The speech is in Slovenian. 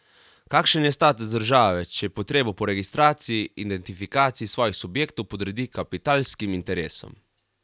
Kakšen je status države, če potrebo po registraciji, identifikaciji svojih subjektov podredi kapitalskim interesom?